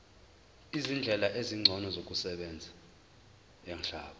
izindlela ezingcono zokusebenza